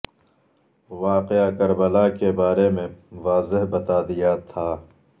واقعہ کربلا کے بارے میں واضح بتا دیا تھا